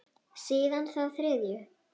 Síðan þá þriðju.